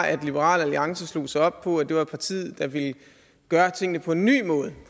at liberal alliance slog sig op på at det var partiet der ville gøre tingene på en ny måde